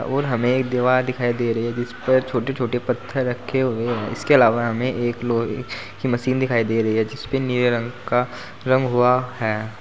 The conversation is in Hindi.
और हमें एक दीवाल दिखाई दे रही है जीस पर छोटे छोटे पत्थर रखे हुए हैं इसके अलावा हमें एक लोहे की मशीन दिखाई दे रही है जीसपे नीले रंग का रंग हुआ है।